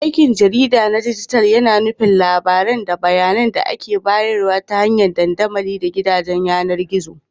Aikin jarida na dijital yAna nufin labarai da bayAnan da ake bayarwa ta hanyar dandamali da gidajen yAnar gizo